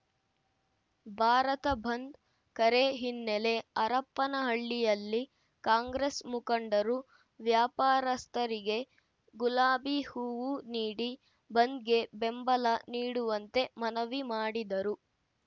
ಭಾರತ ಬಂದ್‌ ಕರೆ ಹಿನ್ನೆಲೆ ಹರಪನಹಳ್ಳಿಯಲ್ಲಿ ಕಾಂಗ್ರೆಸ್‌ ಮುಖಂಡರು ವ್ಯಾಪಾರಸ್ಥರಿಗೆ ಗುಲಾಬಿ ಹೂವು ನೀಡಿ ಬಂದ್‌ಗೆ ಬೆಂಬಲ ನೀಡುವಂತೆ ಮನವಿ ಮಾಡಿದರು